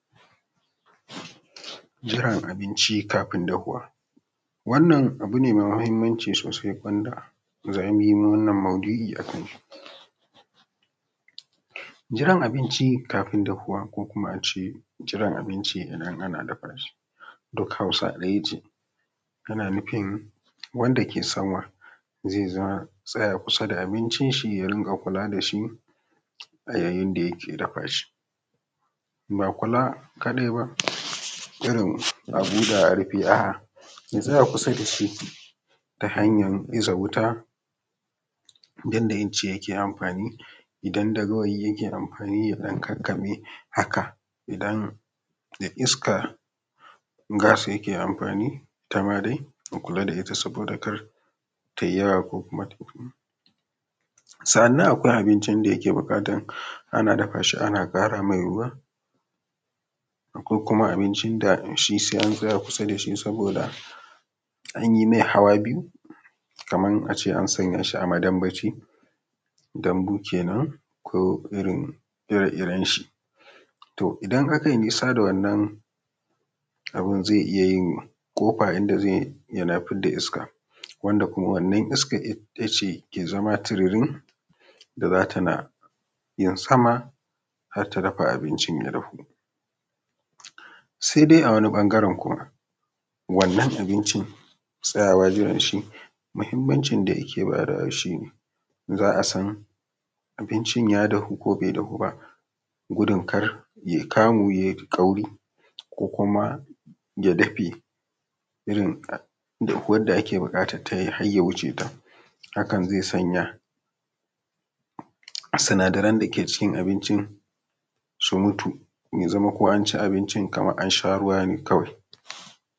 Jiran abinci kafin dafuwa, wannan abu ne mai muhimmanci sosai wanda zamu yi wannan mawdu’i a kan shi, jiran abinci kafin dafuwa ko kuma ace jiran abinci idan ana dafa shi duk Hausa ɗaya ce ana nufin wanda ke sanwa zai tsaya kusa da abinci shi ya rinka kula da shi a yayin da yake dafa shi, ba kula kadai ba irin abun da yafi ya tsaya kusa da shi ta hayar iza wuta inda ice yake amfani, idan da gawayi yake amfani ya dan kakkaɓe haka, idan da iskan gas yake amfani itama dai a kula da ita saboda kar tayi yawa kuma, sannan akwai abinci da yake bukata ana dafa shi ana karamai ruwa, akwai kuma abincin da shi sai an tsaya kusa shi saboda anyi mai hawa biyu kamar ace an sanya shi a madambashi dambu kenan ko ire-iren shi, to idan akai nisa da wannan abun zai iya yin kofa inda zai yana furta iska wanda wannan iskar itace ke zama turirin da zata na yin sama har ta dafa abincin ya dafu, sai dai a wani ɓangaren kuma wannan abincin tsayawa jiran shi muhimmancin da yake wa shi ne za a san abincin ya dafu ko bai dafu ba gudun kada ya kamu ya yi kauri ko kuma ya dafe irin dafuwar da ake bukatar tayi har ya wuce ta, hakan zai sanya sinadaran da ke cikin abincin sum utu ya zama ko anci abincin kamar an sha ruwa ne kawai.